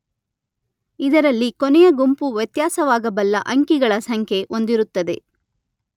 ಇದರಲ್ಲಿ ಕೊನೆಯ ಗುಂಪು ವ್ಯತ್ಯಾಸವಾಗಬಲ್ಲ ಅಂಕಿಗಳ ಸಂಖ್ಯೆ ಹೊಂದಿರುತ್ತದೆ.